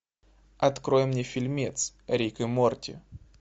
открой мне фильмец рик и морти